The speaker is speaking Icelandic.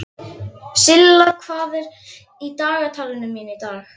Silla, hvað er í dagatalinu mínu í dag?